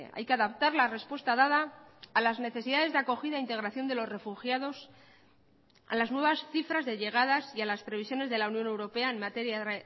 hay que adaptar la respuesta dada a las necesidades de acogida integración de los refugiados a las nuevas cifras de llegadas y a las previsiones de la unión europea en materia de